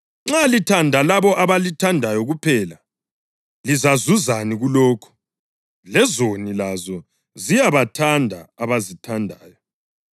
Nxa lithanda labo abalithandayo kuphela, lizazuzani kulokho? Lezoni lazo ziyabathanda abazithandayo.